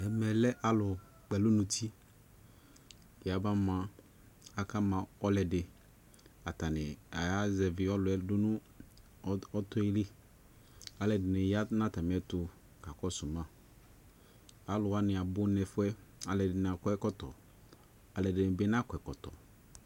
Ɛmɛ lɛ alu kpɛlu nuti yaba ma, aka ma ɔdeAtane aya zɛvi ɔluɛ do no ɔt ɔtɔe liAlɛde ne ya na atame ɛto ka kɔso maAlu wane abu nɛfuɛƐde ne akɔ ɛkɔtɔ, alɛde ne be nakɔ ɛkɔtɔ